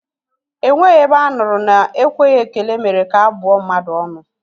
Enweghị ebe a nụrụ na ekweghị ekele mere ka a bụọ mmadụ ọnụ